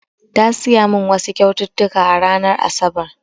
Ya siya min wasu kyaututtuka a ranar asabar